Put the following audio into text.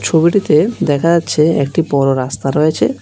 ছবিটিতে দেখা যাচ্ছে একটি বড় রাস্তা রয়েছে।